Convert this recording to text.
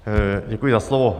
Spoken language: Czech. Děkuji za slovo.